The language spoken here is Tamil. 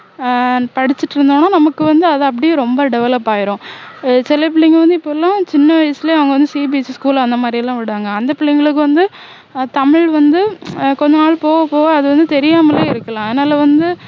ஆஹ் படிச்சிட்டு இருந்தோம்னா நமக்கு வந்து அது அப்படியே ரொம்ப develop ஆகிரும் சில பிள்ளைங்க வந்து இப்போ எல்லாம் சின்ன வயசுலேயே அவங்க வந்து CBSE school அந்தமாதிரி எல்லாம் விடுறாங்க அந்த பிள்ளைங்களுக்கு வந்து ஆஹ் தமிழ் வந்து ஆஹ் கொஞ்சநாள் போக போக அது வந்து தெரியாமலே இருக்கலாம் அதனால வந்து